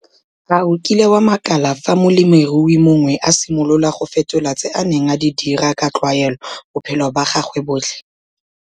A o kile wa makala fa molemirui mongwe a simolola go fetola tse a neng a di dira ka tlwaelo bophelo ba gagwe botlhe?